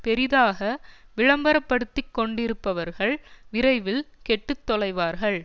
பெரிதாக விளம்பர படுத்தி கொண்டிருப்பவர்கள் விரைவில் கெட்டு தொலைவார்கள்